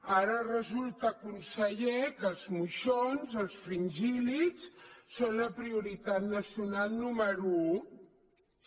ara resulta conseller que els moixons els fringíl·lids són la prioritat nacional número un